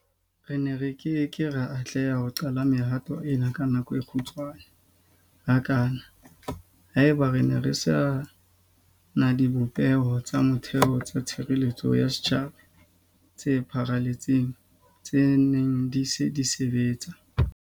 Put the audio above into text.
Re ne re ke ke ra atleha ho qala mehato ena ka nako e kgutshwane hakana haeba re ne re se na dibopeho tsa motheo tsa tshireletseho ya setjhaba tse pharaletseng tse neng di se di sebetsa.